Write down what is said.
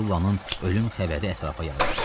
Sullanın ölüm xəbəri ətrafa yayıldı.